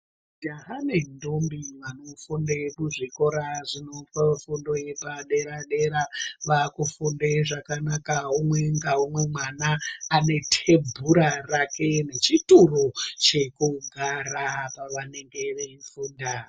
Ndahame ndombi vanofunda kuzvikora zvinopa fundo yepadera dera vakufunde zvakanaka umwe ngaumwe mwana anetembura rake nechituru chekugara pavanenge veifunda .